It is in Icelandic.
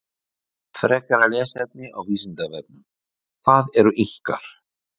Frekara lesefni á Vísindavefnum: Hvað eru Inkar?